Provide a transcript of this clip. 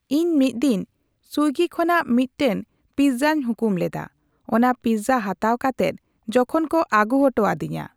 ᱤᱧ ᱢᱤᱫ ᱫᱤᱱᱥᱩᱭᱜᱤ ᱠᱷᱚᱱᱟᱜᱢᱤᱫ ᱴᱮᱱ ᱯᱤᱪᱡᱟᱧ ᱦᱩᱠᱩᱢ ᱞᱮᱫᱟ ᱾ ᱚᱱᱟ ᱯᱤᱪᱡᱟ ᱦᱟᱛᱟᱣ ᱠᱟᱛᱮᱫ ᱡᱚᱠᱷᱚᱱ ᱠᱚ ᱟᱜᱩ ᱚᱴᱚ ᱟᱫᱤᱧᱟ